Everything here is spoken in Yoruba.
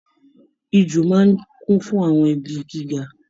Ijù máa n kún fún àwọn igi gíga.